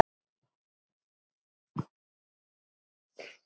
Einn þeirra var Ari.